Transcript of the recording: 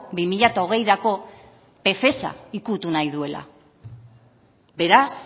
bi mila hogeirako ukitu nahi duela beraz